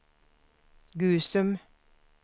Gusum